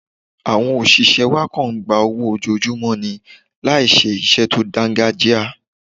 Àwọn òṣìṣẹ́ wa kọ̀ ń gba owó ojoojúmọ́ ni láì ṣe iṣẹ́ tó dáńgájíá.